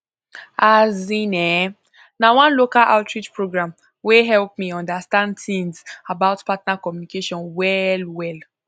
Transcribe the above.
azin eh na one local outreach program wey help me understand things about partner communication well well